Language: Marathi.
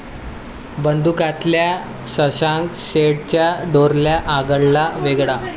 बंदुक्या'तल्या शशांक शेंडेंचा डोरल्या आगळा वेगळा